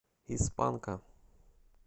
из панка